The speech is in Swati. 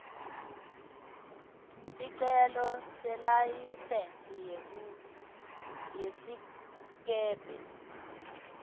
sicelo selayisensi yesikebhe